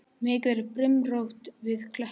Mikið er brimrót við kletta.